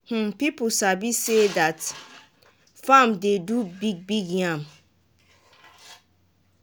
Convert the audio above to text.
um people sabi say dat farm dey do big-big yam